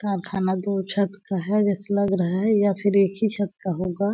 कारखाना दो छत का है जैसे लग रहा है या फिर एक ही छत का होगा।